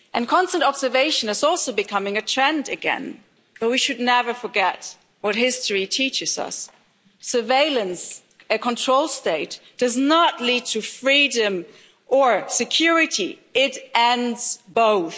Constant observation is also becoming a trend again, but we should never forget what history teaches us surveillance, a control state, does not lead to freedom or security. It ends both.